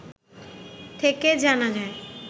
থেকে জানা যায়